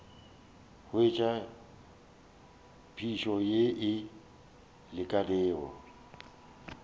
hwetša phišo ye e lekanego